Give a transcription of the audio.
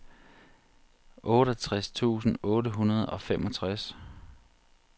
otteogtres tusind otte hundrede og femogtres